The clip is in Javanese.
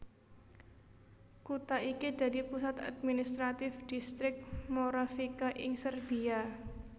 Kutha iki dadi pusat administratif Dhistrik Moravica ing Serbia